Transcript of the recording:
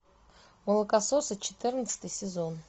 молокососы четырнадцатый сезон